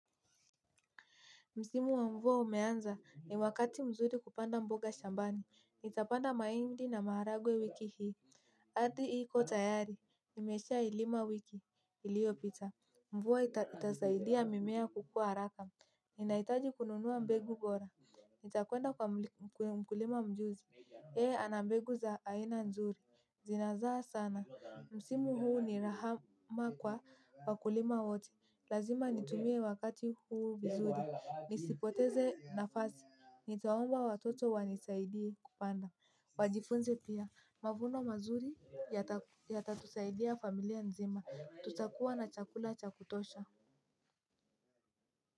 Msimu wa mvua umeanza, ni wakati mzuri kupanda mboga shambani. NItapanda mahindi na maharagwe wiki hii. Ardhi iko tayari. Nimeshaailima wiki iliyopita. Mvua itasaidia mimea kukua haraka. Ninahitaji kununua mbegu bora. Nitakwenda kwa mkulima mjuzi. Yeye ana mbegu za aina nzuri. Zinazaa sana. Msimu huu ni rahama kwa wakulima wote. Lazima nitumie wakati huu vizuri. Nisipoteze nafasi. Nitaomba watoto wanisaidie kupanda. Wajifunze pia. Mavuno mazuri yatatusaidia familia nzima. Tutakua na chakula cha kutosha.